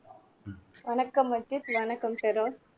வணக்கம் அஜித் வணக்கம் பெரோஸ்